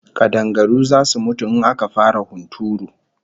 Kadangaru zasu mutu in aka fara hunturu